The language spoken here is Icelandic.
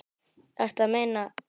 Ertu að meina.?